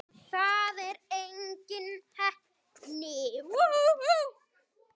Það er engin heppni.